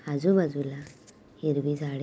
आजु बाजु में हेर व ।